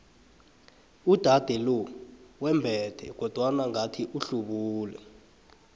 uudade lo wembethe kodwana ngathi uhlubule